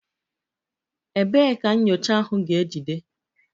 Ebee ka nyocha ahụ ga-ejide?